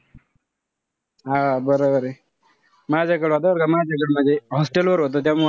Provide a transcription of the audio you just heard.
हा बरोबरे. माझ्याकडं होता बरं का माझ्या hostel वर होता त्यामुळे,